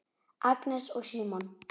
Agnes og Símon.